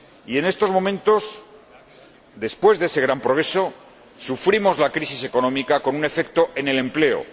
Y, en estos momentos, después de ese gran progreso, sufrimos la crisis económica con un efecto en el empleo.